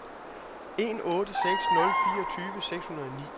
en otte seks nul fireogtyve seks hundrede og ni